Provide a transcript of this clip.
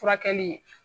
Furakɛli